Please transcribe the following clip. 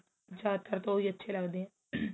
ਜਿਆਦਾ ਤਰ ਤਾਂ ਉਹੀ ਅੱਛੇ ਲੱਗਦੇ ਏ